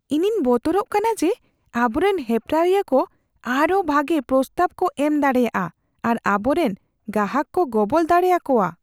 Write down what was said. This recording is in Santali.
ᱤᱧᱤᱧ ᱵᱚᱛᱚᱨᱚᱜ ᱠᱟᱱᱟ ᱡᱮ ᱟᱵᱚᱨᱮᱱ ᱦᱮᱯᱨᱟᱣᱤᱭᱟᱹ ᱠᱚ ᱟᱨᱦᱚᱸ ᱵᱷᱟᱜᱮ ᱯᱨᱚᱥᱛᱟᱵᱽ ᱠᱚ ᱮᱢ ᱫᱟᱲᱮᱭᱟᱜᱼᱟ ᱟᱨ ᱟᱵᱚᱨᱮᱱ ᱜᱟᱦᱟᱠ ᱠᱚ ᱜᱚᱵᱚᱞ ᱫᱟᱲᱮ ᱟᱠᱚᱣᱟ ᱾